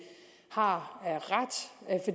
har